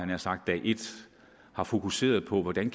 nær sagt dag et har fokuseret på hvordan